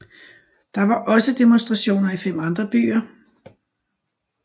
Der var også demonstrationer i fem andre byer